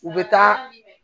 U bɛ taa